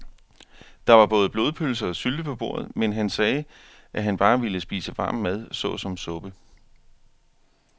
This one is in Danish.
Der var både blodpølse og sylte på bordet, men han sagde, at han bare ville spise varm mad såsom suppe.